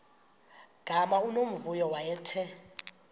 gama unomvuyo wayethe